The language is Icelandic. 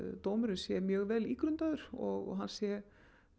dómurinn sé mjög vel ígrundaður og hann sé